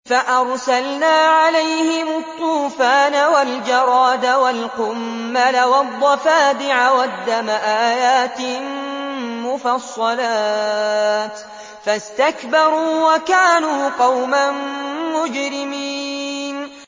فَأَرْسَلْنَا عَلَيْهِمُ الطُّوفَانَ وَالْجَرَادَ وَالْقُمَّلَ وَالضَّفَادِعَ وَالدَّمَ آيَاتٍ مُّفَصَّلَاتٍ فَاسْتَكْبَرُوا وَكَانُوا قَوْمًا مُّجْرِمِينَ